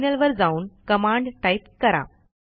terminal वर जाऊन command type करा